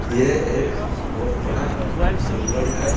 यह एक बहुत बड़ा जंगल है।